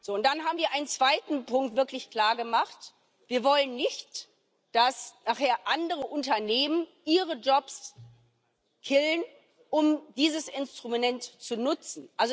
Und dann haben wir einen zweiten Punkt wirklich klargemacht Wir wollen nicht, dass nachher andere Unternehmen ihre Jobs killen, um dieses Instrument zu nutzen.